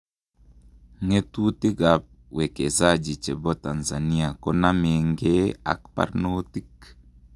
Ngetutik ap wekezaji chepo Tanzania konamengee ak parnotik?